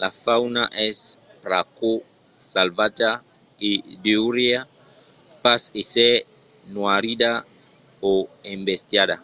la fauna es pr’aquò salvatja e deuriá pas èsser noirida o embestiada